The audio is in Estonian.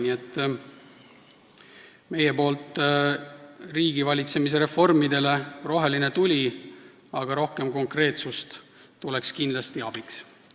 Nii et meie poolt riigivalitsemise reformidele roheline tuli, aga rohkem konkreetsust tuleks kindlasti abiks.